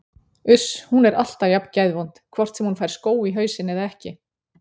Uss, hún er alltaf jafn geðvond hvort sem hún fær skó í hausinn eða ekki